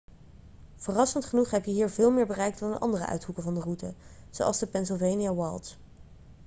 verrassend genoeg heb je hier veel meer bereik dan in andere uithoeken van de route zoals de pennsylvania wilds